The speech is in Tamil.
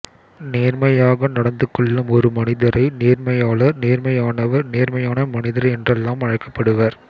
நேர்மையாக நடந்துகொள்ளும் ஒரு மனிதரை நேர்மையாளர் நேர்மையானவர் நேர்மையான மனிதர் என்றெல்லாம் அழைக்கப்படுவர்